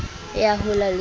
e ya hola le ho